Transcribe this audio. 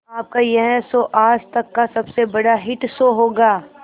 आपका यह शो आज तक का सबसे बड़ा हिट शो होगा